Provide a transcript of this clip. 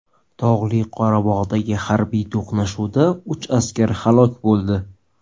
Tog‘li Qorabog‘dagi harbiy to‘qnashuvda uch askar halok bo‘ldi.